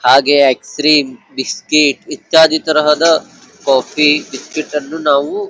ಹಾಗೆ ice cream biscuit ಇತ್ಯಾದಿ ತರಹದ ಕಾಫಿ ಬಿಸ್ಕೆಟ್ ನ್ನು ನಾವು --